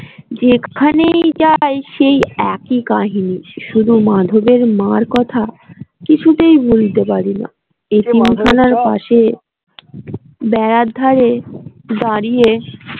যেখানেই যাই সেই একই কাহিনী শুধু মাধবের মার কথা কিছুতেই ভুলতে পারিনা ইতিম খানার পাশে বেড়ার ধারে দাঁড়িয়ে